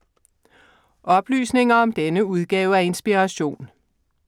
Oplysninger om denne udgave af Inspiration